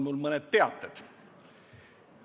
Mul on mõned teated.